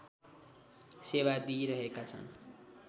सेवा दिइरहेका छन्